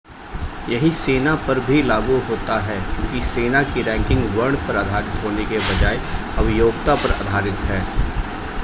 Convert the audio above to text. यही सेना पर भी लागू होता है क्योंकि सेना की रैंकिंग वर्ण पर आधारित होने के बजाय अब योग्यता पर आधारित हैं